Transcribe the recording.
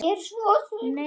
Ég er svo svöng.